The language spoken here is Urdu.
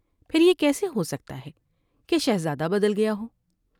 پھر یہ کیسے ہوسکتا ہے کہ شہزادہ بدل گیا ہو ۔